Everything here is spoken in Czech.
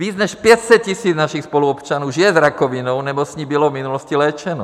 Víc než 500 000 našich spoluobčanů žije s rakovinou nebo s ní bylo v minulosti léčeno.